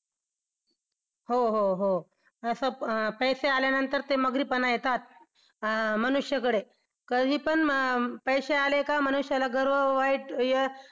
हो हो हो पैसे असं पैसे आल्यानंतर ते मग्रीपणा येतात अं मनुष्याकडे कधी पण पैसे आले का मनुष्याला गर्व वाईट